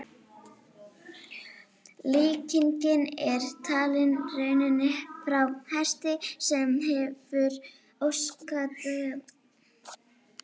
Líkingin er talin runnin frá hesti sem hefur óskaddaða hófa eftir langferð eða svaðilför.